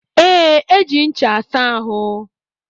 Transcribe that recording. E, eji ncha asa ahụ.